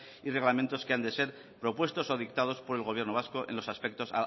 y reglamentos que hayan de ser propuestos o dictados por el gobierno vasco en los aspectos